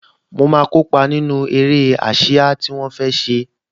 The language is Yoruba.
Mo máa kópa nínú eré ásíá tí wọ́n fẹ́ ṣe